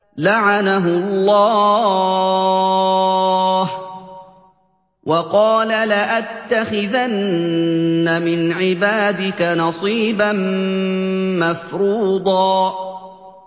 لَّعَنَهُ اللَّهُ ۘ وَقَالَ لَأَتَّخِذَنَّ مِنْ عِبَادِكَ نَصِيبًا مَّفْرُوضًا